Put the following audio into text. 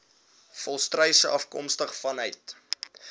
volstruise afkomstig vanuit